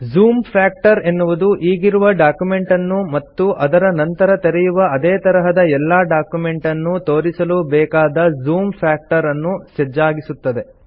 zoom factor ಎನ್ನುವುದು ಈಗಿರುವ document ಅನ್ನು ಮತ್ತು ನಂತರ ತೆರೆಯುವ ಅದೇ ತರಹದ ಎಲ್ಲಾ ಡಾಕ್ಯುಮೆಂಟ್ ಅನ್ನು ತೋರಿಸಲು ಬೇಕಾದ ಜೂಮ್ ಫ್ಯಾಕ್ಟರ್ ಅನ್ನು ಸಜ್ಜಾಗಿಸುತ್ತದೆ